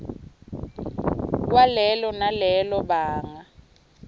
kwalelo nalelo banga